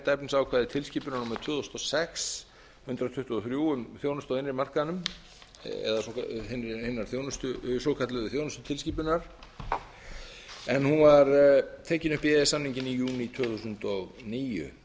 efnisákvæði tilskipunar númer tvö þúsund og sex hundrað tuttugu og þrjú um þjónustu á innri markaðnum eða hina svokölluðu þjónustutilskipun en hún var tekin upp í e e s samninginn í júní tvö þúsund og níu